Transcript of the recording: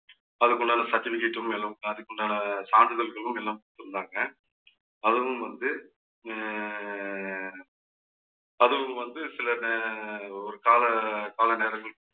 அதுக்கு உண்டான certificate உம் அதுக்குண்டான சான்றிதழ்களும் எல்லாம் கொடுத்திருந்தாங்க. அதுவும் வந்து அஹ் அதுவும் வந்து சில நே~ ஒரு கால கால நேரங்கள்